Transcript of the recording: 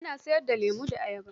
Ina sayar da lemo da ayaba.